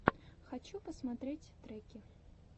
хочу посмотреть треки